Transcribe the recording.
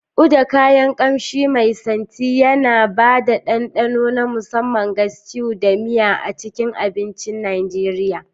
Uda, kayan ƙamshi mai santi, yana ba da dandano na musamman ga stews da miya a cikin abincin Najeriya.